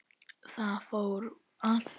Það fór allt úr böndum.